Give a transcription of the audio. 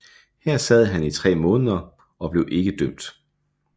Her sad han i tre måneder og blev ikke dømt